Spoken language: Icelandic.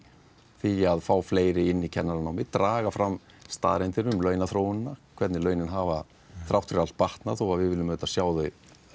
því að fá fleiri inn í kennaranámið draga fram staðreyndir um launaþróun hvernig launin hafa þrátt fyrir allt batnað þó við viljum auðvitað sjá þau